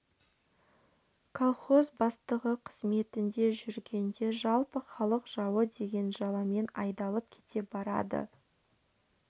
колхоз бастығы қызметінде жүргенде жылы халық жауы деген жаламен айдалып кете барады